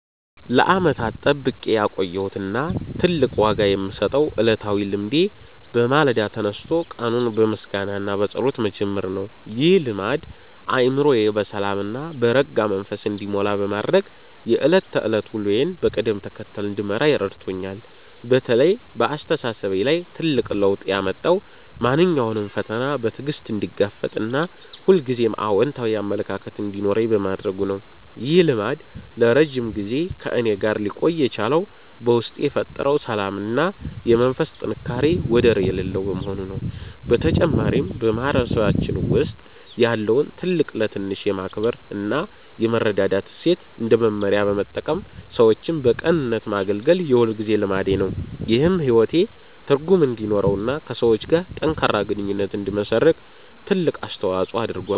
ለዓመታት ጠብቄ ያቆየሁት እና ትልቅ ዋጋ የምሰጠው ዕለታዊ ልማዴ በማለዳ ተነስቶ ቀኑን በምስጋና እና በጸሎት መጀመር ነው። ይህ ልማድ አእምሮዬ በሰላም እና በረጋ መንፈስ እንዲሞላ በማድረግ የዕለት ተዕለት ውሎዬን በቅደም ተከተል እንድመራ ረድቶኛል። በተለይ በአስተሳሰቤ ላይ ትልቅ ለውጥ ያመጣው ማንኛውንም ፈተና በትዕግስት እንድጋፈጥ እና ሁልጊዜም አዎንታዊ አመለካከት እንዲኖረኝ በማድረጉ ነው። ይህ ልማድ ለረጅም ጊዜ ከእኔ ጋር ሊቆይ የቻለው በውስጤ የፈጠረው ሰላም እና የመንፈስ ጥንካሬ ወደር የሌለው በመሆኑ ነው። በተጨማሪም፣ በማህበረሰባችን ውስጥ ያለውን ትልቅ ለትንሽ የማክበር እና የመረዳዳት እሴት እንደ መመሪያ በመጠቀም ሰዎችን በቅንነት ማገልገል የሁልጊዜ ልማዴ ነው። ይህም ሕይወቴ ትርጉም እንዲኖረውና ከሰዎች ጋር ጠንካራ ግንኙነት እንድመሰርት ትልቅ አስተዋጽኦ አድርጓል።